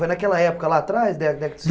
Foi naquela época lá atrás? Dá dá